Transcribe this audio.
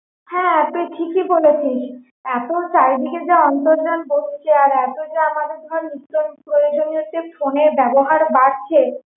হ্যাঁ তুই ঠিকই বলেছিস এতো চারিদিকে যা অন্তর্জাল বসছে আর এতো যা আমাদের নিত্য প্রয়োজনীয় phone এর ব্যবহার বাড়ছে